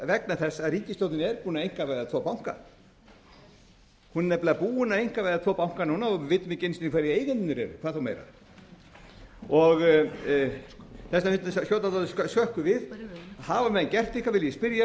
vegna þess að ríkisstjórnin er búin að einkavæða tvo banka hún er nefnilega búin að einkavæða tvo banka núna og við vitum ekki einu sinni hverjir eigendurnir eru hvað þá meira þess vegna finnst mér skjóta dálítið skökku við hafa menn gert eitthvað vil ég spyrja háttvirtan þingmann